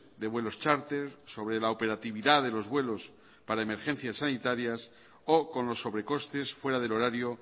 de vuelos charter sobre la operatividad de los vuelos para emergencias sanitarias o con los sobrecostes fuera del horario